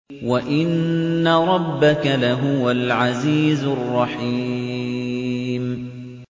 وَإِنَّ رَبَّكَ لَهُوَ الْعَزِيزُ الرَّحِيمُ